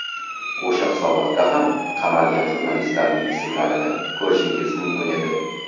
O‘sha hisobotda ham qamalgan jurnalistlarning ismlarini ko‘rishingiz mumkin edi.